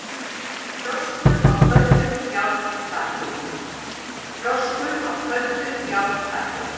FROSKUR Á KÖLDU JÁRNÞAKI